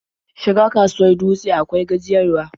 Shiga kasuwar Dutse akwai gajiyarwa.